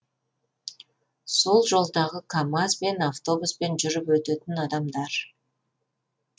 сол жолдағы камаз бен автобуспен жүріп өтетін адамдар